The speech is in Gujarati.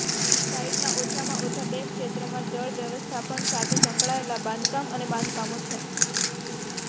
સાઇટના ઓછામાં ઓછા બે ક્ષેત્રોમાં જળ વ્યવસ્થાપન સાથે સંકળાયેલા બાંધકામ અને બાંધકામો છે